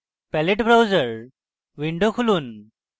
palette browser window খুলুন